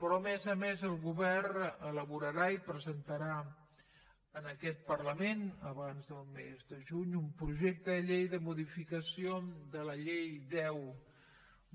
però a més a més el govern elaborarà i presentarà en aquest parlament abans del mes de juny un projecte de llei de modificació de la llei deu